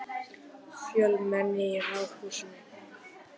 Fjölmenni í Ráðhúsinu